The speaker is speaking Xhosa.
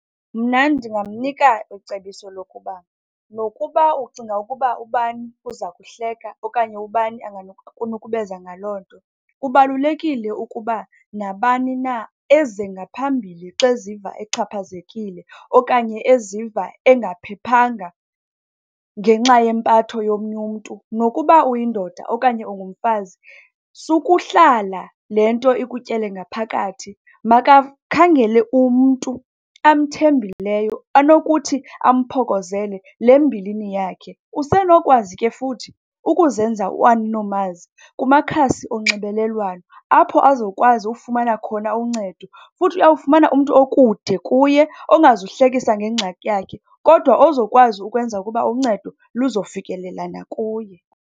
Mna ndingamnika icebiso lokuba nokuba ucinga ukuba ubani uza kuhleka okanye ubani angakunukubeza ngaloo nto, kubalulekile ukuba nabani na eze ngaphimbile xa eziva exhaphazekile okanye eziva engaphephanga ngenxa yempatho yomnye umntu. Nokuba uyindoda okanye ungumfazi sukuhlala, le nto ikutyele ngaphakathi, makakhangele umntu amthembileyo anokuthi amphokozele le mbilini yakhe. Usenokwazi ke futhi ukuzenza uAninomazi kumakhasi onxibelelwano, apho azokwazi ukufumana khona uncedo. Futhi uyawufumana umntu okude kuye ongazuhlekisa ngengxaki yakhe, kodwa ozokwazi ukwenza ukuba uncedo luzofikelela nakuye.